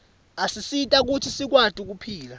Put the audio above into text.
asisita kutsi sikwati kuphila